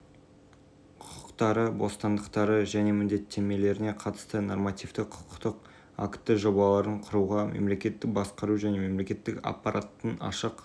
жүзеге асыруға қатысу мүмкіндігі беріліп отыр қоғамдық кеңес жобалар мен бюджеттік бағдарламаларды орындауды талқылауға азаматтардың